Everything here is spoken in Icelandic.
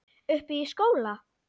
Uppi í skóla?